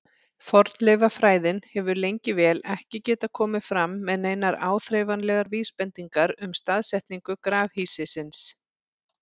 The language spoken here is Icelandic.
Fornleifafræðin hefur lengi vel ekki getað komið fram með neinar áþreifanlegar vísbendingar um staðsetningu grafhýsisins.